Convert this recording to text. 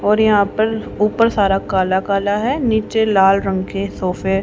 और यहां पर ऊपर सारा काला काला हैं नीचे लाल रंग के सोफे --